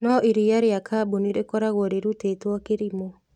No iriia rĩa kambuni rĩkoragwo rĩrutĩtwo kĩrimũ